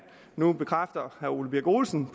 nu bekræfter herre ole birk olesen